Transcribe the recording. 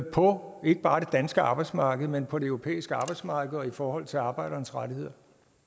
på ikke bare det danske arbejdsmarked men på det europæiske arbejdsmarked og i forhold til arbejdernes rettigheder